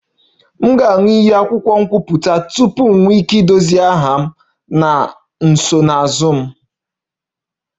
M ga-aṅụ iyi akwụkwọ nkwupụta tupu m nwee ike idozi aha m na nsonaazụ m